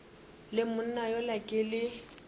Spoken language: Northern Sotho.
le monna yola ke le